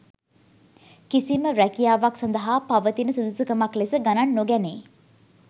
කිසිම රැකියාවක් සඳහා පවතින සුදුසුකමක් ලෙස ගණන් නොගැනේ.